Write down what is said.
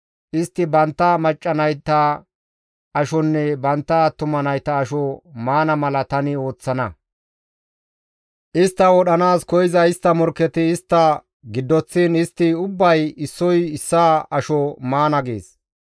Istti bantta macca nayta ashonne bantta attuma nayta asho maana mala tani ooththana; istta wodhanaas koyza istta morkketi istta giddoththiin istti ubbay issoy issaa asho maana› gees.